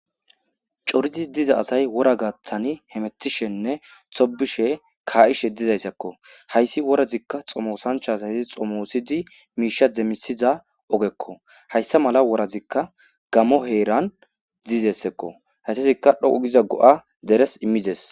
coridi diza asay wora gaaththani hemettishenne tobishe kaa7ishe dizayssakko hayssi worazikka xomosancha asayi xomoosidi miisha demmisiza ogekko hayssa mala worazikka gamo heeran dizessakko hayssazikka dhoqu giza go7a deres immides